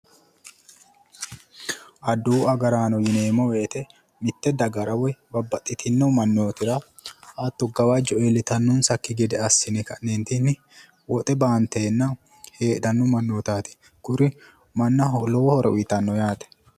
Adawu agaraano yineemmo woyiite mitte dagara woyi babbaxxitinno mannootira hatto gawajjo iillitannonsakki gede assine ka'neentinni woxe baanteenna heedhanno mannootaati kuri mannaho lowo horo uuyitanno yaate.